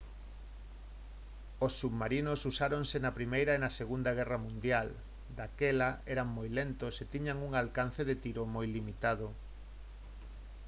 os submarinos usáronse na primeira e na segunda guerra mundial daquela eran moi lentos e tiñan un alcance de tiro moi limitado